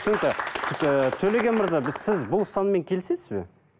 түсінікті ііі төлеген мырза біз сіз бұл ұстаныммен келісесіз бе